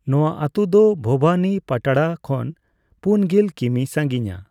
ᱱᱚᱣᱟ ᱟ.ᱛᱩ ᱫᱚ ᱵᱷᱚᱵᱟᱱᱤᱯᱟᱴᱬᱟ ᱠᱷᱚᱱ ᱯᱩᱱᱜᱮᱞ ᱠᱤᱢᱤ. ᱥᱟᱝᱜᱤᱧᱻᱟ।